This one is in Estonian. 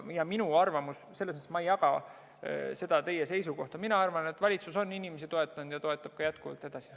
Ja ma ei jaga seda teie seisukohta, mina arvan, et valitsus on inimesi toetanud ja toetab jätkuvalt edasi.